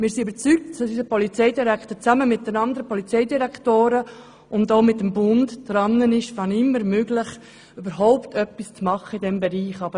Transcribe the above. Wir sind überzeugt, dass unser Polizeidirektor zusammen mit den anderen Polizeidirektoren und dem Bund dabei ist, wenn immer möglich überhaupt etwas in diesem Bereich zu tun.